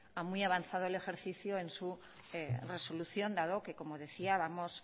a muy avanzado el ejercicio en su resolución dado que como decía vamos